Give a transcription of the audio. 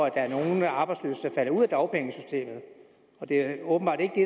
at der er nogle arbejdsløse der falder ud af dagpengesystemet og det er åbenbart ikke det